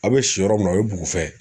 A' be si yɔrɔ min na o ye bugufɛ.